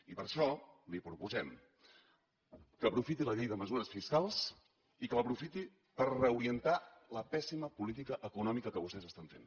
i per això li proposem que aprofiti la llei de mesures fiscals i que l’aprofiti per reorientar la pèssima política econòmica que vostès estan fent